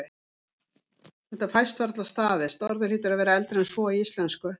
Þetta fæst varla staðist, orðið hlýtur að vera eldra en svo í íslensku.